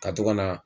Ka to ka na